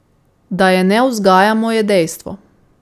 Da je ne vzgajamo, je dejstvo.